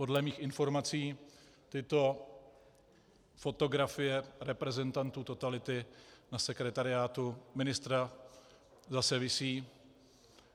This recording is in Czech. Podle mých informací tyto fotografie reprezentantů totality na sekretariátu ministra zase visí.